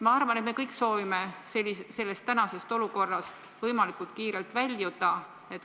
Ma arvan, et me kõik soovime sellest olukorrast võimalikult kiirelt väljuda.